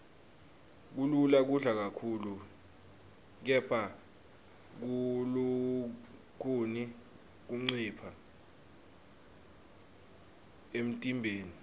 kulula kudla kakhulu kepha kulukhuni kuncipha emntimbeni